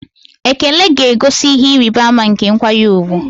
Ekele ga-egosi ihe ịrịba ama nke nkwanye ùgwù.